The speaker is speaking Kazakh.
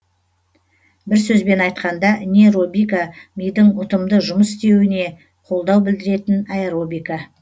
бір сөзбен айтқанда нейробика мидың ұтымды жұмыс істеуіне қолдау білдіретін аэробика